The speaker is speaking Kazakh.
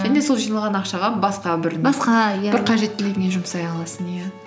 және сол жиналған ақшаға басқа бір басқа иә бір қажеттілігіңе жұмсай аласың иә